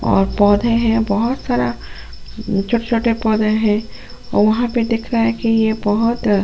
और पौधे हैं बहुत सारा म छोटे-छोटे पौधे हैं और वहां प दिख रहा है कि ये बहुत अ --